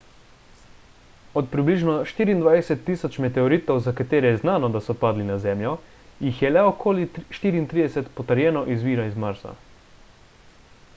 od približno 24.000 meteoritov za katere je znano da so padli na zemljo jih le okoli 34 potrjeno izvira iz marsa